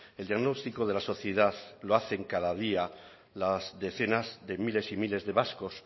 el diagnóstico de la sociedad lo hacen cada día las decenas de miles y miles de vascos